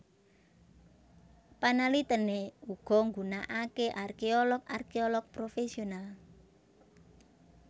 Panalitèné uga nggunakaké arkéolog arkéolog profesional